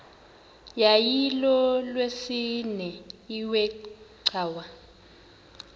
yayilolwesine iwe cawa